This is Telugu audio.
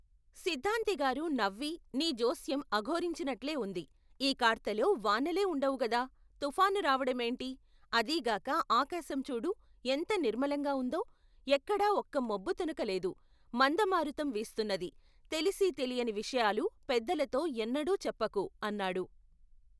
సిద్ధాంతిగారు నవ్వి నీ జోస్యం అఘోరించినట్లే ఉంది ఈ కార్తెలో వానలే ఉండవుగదా తుఫాను రావడమేoటి, అదీ గాక ఆకాశం చూడు ఎంత నిర్మలంగా ఉందో, ఎక్కడా ఒక్క మబ్బు తునక లేదు మందమారుతం వీస్తున్నది తెలిసీ తెలియని విషయాలు, పెద్దలతో ఎన్నడూ చెప్పకు అన్నాడు.